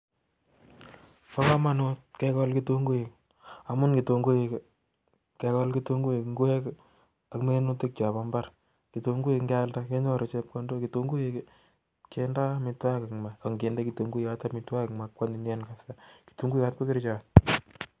Pa kamanut kekol kitunguiik amun kitunguiik kealda kenyoru chepkondok kitunguyot ko.kerchot